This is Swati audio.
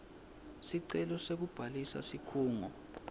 sicelo sekubhalisa sikhungo